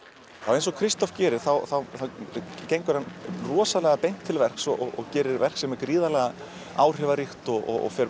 eins og gerir þá gengur hann rosalega beint til verks og gerir verk sem er gríðarlega áhrifaríkt og fer